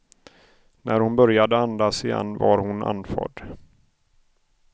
När hon började andas igen var hon andfådd.